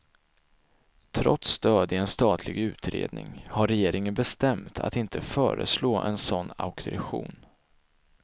Trots stöd i en statlig utredning har regeringen bestämt att inte föreslå en sådan auktorisation.